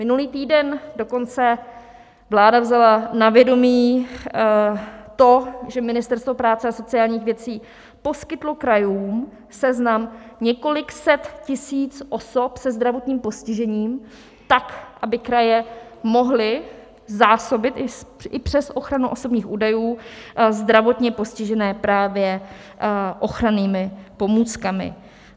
Minulý týden dokonce vláda vzala na vědomí to, že Ministerstvo práce a sociálních věcí poskytlo krajům seznam několika set tisíc osob se zdravotním postižením, tak aby kraje mohly zásobit i přes ochranu osobních údajů zdravotně postižené právě ochrannými pomůckami.